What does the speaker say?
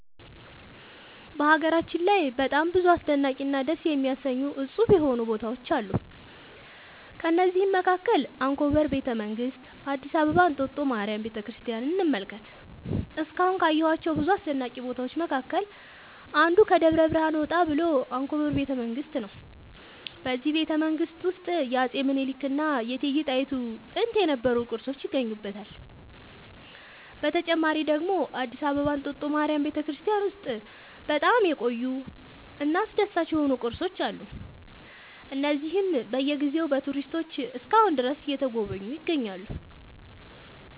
በሀገራችን ላይ በጣም ብዙ አስደናቂ እና ደስ የሚያሰኙ እፁብ የሆኑ ቦታዎች አሉ ከእነዚህም መካከል አንኮበር ቤተ መንግስት አዲስ አበባ እንጦጦ ማርያም ቤተክርስቲያንን እንመልከት እስካሁን ካየኋቸው ብዙ አስደናቂ ቦታዎች መካከል አንዱ ከደብረ ብርሃን ወጣ ብሎ አንኮበር ቤተ መንግስት ነው በዚህ ቤተመንግስት ውስጥ የአፄ ሚኒልክ እና የእቴጌ ጣይቱ ጥንት የነበሩ ቅርሶች ይገኙበታል። በተጨማሪ ደግሞ አዲስ አበባ እንጦጦ ማርያም ቤተክርስቲያን ውስጥ በጣም የቆዩ እና አስደሳች የሆኑ ቅርሶች አሉ እነዚህም በየ ጊዜው በቱሪስቶች እስከ አሁን ድረስ እየተጎበኙ ይገኛሉ